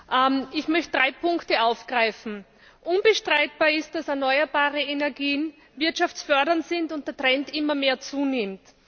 Herr Präsident! Ich möchte drei Punkte aufgreifen Unbestreitbar ist, dass erneuerbare Energien wirtschaftsfördernd sind und der Trend immer mehr zunimmt.